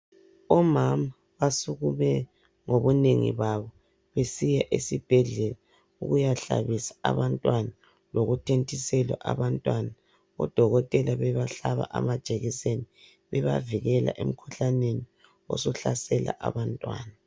Omama basukume ngobunengi babo, besiya esibhedlela., ukuyahlabisa abantwana. Lokuthontisela abantwana. Odokotela bebahlaba amajekiseni. Bebavikela emkhuhlaneni, osuhlasela abantwana.